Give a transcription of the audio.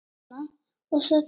Ég kinkaði kolli, undrandi.